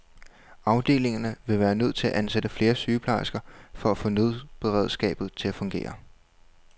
Afdelingerne ville være nødt til at ansætte flere sygeplejersker for at få nødberedskabet til at fungere.